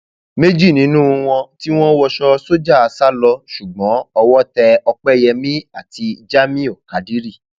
méjì nínú wọn tí um wọn wọṣọ sójà sá lọ ṣùgbọn owó tẹ òpẹyẹmi àti jamiu kádírì um